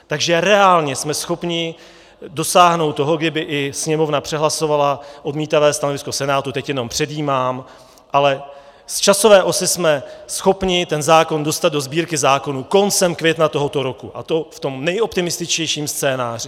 Takže reálně jsme schopni dosáhnout toho, kdyby i Sněmovna přehlasovala odmítavé stanovisko Senátu, teď jenom předjímám, ale z časové osy jsme schopni ten zákon dostat do Sbírky zákonů koncem května tohoto roku, a to v tom nejoptimističtějším scénáři.